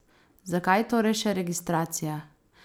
Zakaj torej še registracija?